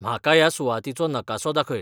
म्हाका ह्या सुवातीचो नकासो दाखय